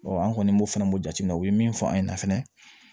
an kɔni b'o fana b'o jate minɛ u ye min fɔ an ɲɛna fɛnɛ